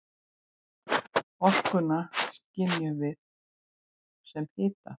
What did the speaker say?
Orkuna skynjum við sem hita.